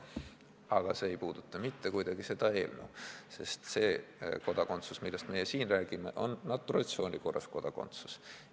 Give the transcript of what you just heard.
Aga see ei puuduta mitte kuidagi seda eelnõu, sest see kodakondsus, millest meie siin räägime, on naturalisatsiooni korras saadav kodakondsus.